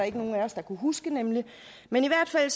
ikke nogen af os der kunne huske men i hvert fald